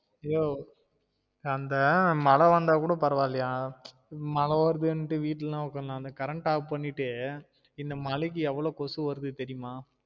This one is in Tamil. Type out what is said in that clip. யோவ் அந்த மழை வந்தா கூட பரவாயில்லையா மழ வருதுன்ட்டு வீட்டுலலாம் உக்காரலாம் அந்த current off பண்ணிட்டு இந்த மலைக்கு எவ்ளோ கொசு வருது தெரியுமா?